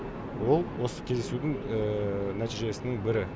ол осы кездесудің нәтижесінің бірі